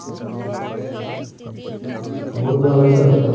মোৰ যোৱা হৈছে আৰু